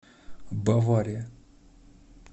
бавария